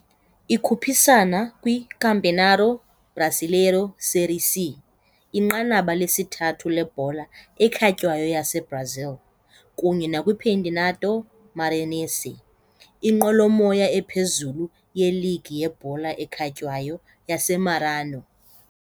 Ikhuphisana kwiCampeonato Brasileiro Série C, inqanaba lesithathu lebhola ekhatywayo yaseBrazil, kunye nakwiCampeonato Maranhense, inqwelomoya ephezulu yeligi yebhola ekhatywayo yaseMaranhão.